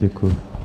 Děkuji.